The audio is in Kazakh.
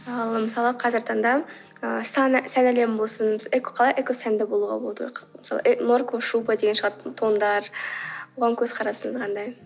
ал мысалы қазіргі таңда ы сән әлемі болсын қалай экосәнді болуға болады мысалы норковая шуба тондар оған көзқарасыңыз қандай